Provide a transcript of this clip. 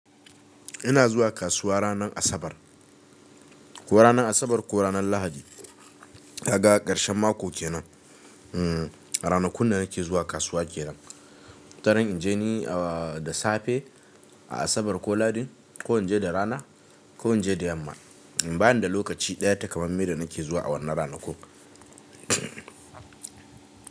Ina zuwa kasuwa ranar Asabar ko ranar Asabar ko ranar Lahadi. Daga ƙarshen mako kenan. Ranakun da nake zuwa kasuwa kenan. Wataran in je ni da safe a Asabar ko Lahadin ko in je da rana ko in je da yamma. Bani da lokaci ɗaya takamamme da nake zuwa a wannan ranakun.